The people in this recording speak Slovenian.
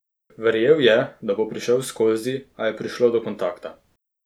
Verjel je, da bo prišel skozi, a je prišlo do kontakta.